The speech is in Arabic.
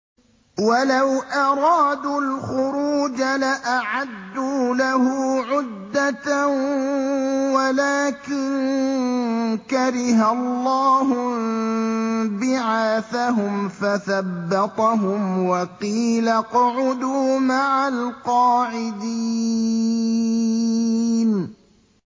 ۞ وَلَوْ أَرَادُوا الْخُرُوجَ لَأَعَدُّوا لَهُ عُدَّةً وَلَٰكِن كَرِهَ اللَّهُ انبِعَاثَهُمْ فَثَبَّطَهُمْ وَقِيلَ اقْعُدُوا مَعَ الْقَاعِدِينَ